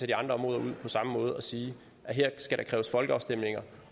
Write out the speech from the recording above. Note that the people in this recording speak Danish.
de andre områder ud på samme måde og sige at her skal der kræves folkeafstemninger